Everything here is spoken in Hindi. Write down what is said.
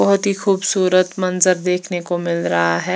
बोहोत ही खुबसूरत मंजर देखने को मिलरा है।